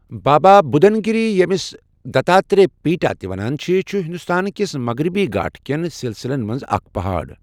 بابا بُدَن گِری ییٚمِس دتاترے پِیٹا تہِ ونان چھِ، چھُ ہندوستان کِس مغربی گھاٹھٕ کٮ۪ن سلسلن منٛز اکھ پہاڑ۔